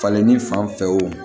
Falenni fan fɛ o